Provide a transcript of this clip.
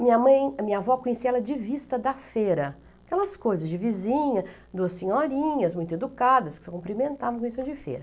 Minha mãe, a minha avó conhecia ela de vista da feira, aquelas coisas de vizinha, duas senhorinhas muito educadas, que se cumprimentavam de feira.